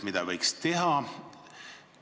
Mida võiks edaspidi teha?